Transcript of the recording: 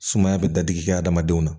Sumaya bɛ da digi kɛ hadamadenw na